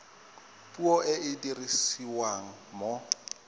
puo e e dirisiwang mo